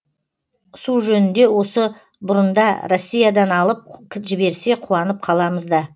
су жөнінде осы бұрында россиядан алып жіберсе қуанып қаламыз да